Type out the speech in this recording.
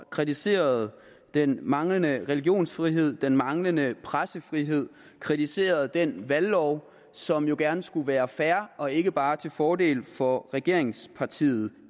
kritiseret den manglende religionsfrihed den manglende pressefrihed kritiseret den valglov som jo gerne skulle være fair og ikke bare til fordel for regeringspartiet